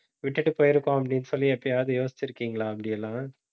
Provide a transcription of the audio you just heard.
விட்டுட்டு போயிருக்கோம் அப்படின்னு சொல்லி எப்பயாவது யோசிச்சிருக்கீங்களா அப்படியெல்லாம்